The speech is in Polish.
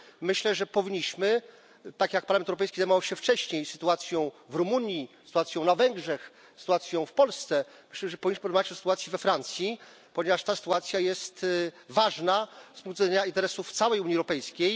Myślę, że powinniśmy tak jak Parlament Europejski zajmował się wcześniej sytuacją w Rumunii, sytuacją na Węgrzech, sytuacją w Polsce porozmawiać o sytuacji we Francji, ponieważ ta sytuacja jest ważna z punktu widzenia interesów całej Unii Europejskiej.